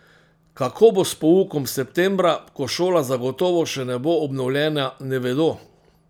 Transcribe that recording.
Kako bo s poukom septembra, ko šola zagotovo še ne bo obnovljena, ne vedo.